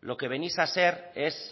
lo que venís a ser es